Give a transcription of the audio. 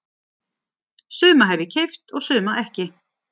Suma hef ég keypt og suma ekki.